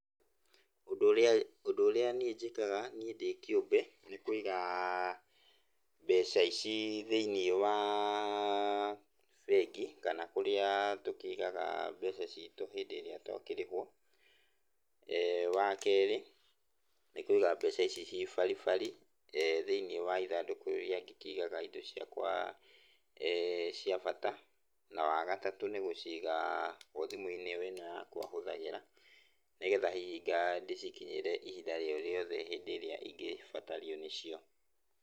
Ũndũ ũrĩa ũndũ ũrĩa niĩ njĩkaga niĩ ndĩkĩũmbe nĩ kũigaa, mbeca ici thĩiniĩ waa bengi kana kũrĩa tũkĩigaga mbeca citũ hĩndĩ ĩrĩa twakĩrĩhwo. Wakerĩ, nĩ kũiga mbeca ici ciĩ baribari, thĩiniĩ wa ithandũkũ rĩrĩa ndĩkĩigaga indo ciakwa cia bata. Na wagatatũ nĩ gũciga o thimũ-inĩ ĩno yakwa hũthagĩra, nĩgetha hihi nga ndĩcikinyĩre ihinda o rĩothe hĩndĩ ĩrĩa ingĩbatario nĩcio.